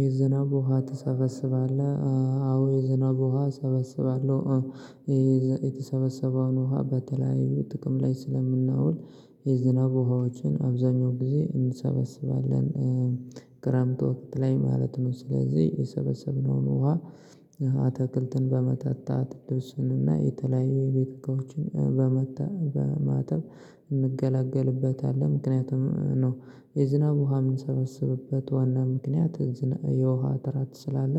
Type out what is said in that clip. የዝናብ ውሃ ትሰበስባለህ? አዎ የዝናብ ውሃ እሰበስባለሁ። የተሰበሰበውን ውሃ በተለያዩ ጥቅም ላይ ስለምናውል የዝናብ ውሃዎችን አብዛኛው ጊዜ እንሰበስባለን። ክራምት ወቅት ላይ ማለት ነው ስለዚህ የሰበሰብነውን ውሃ አተክልትን በማጠታት ልብስንና የተለያዩ የቤተ እቃዎችን ለማጠብ በማጠብ እንገላገልበታለን። ምክንያቱም ነው የዝናብ ውሃ የምንሰበስብበት ዋና ምክንያት። የውሃ እጥረት ስላለ